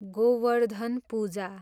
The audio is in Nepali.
गोवर्धन पूजा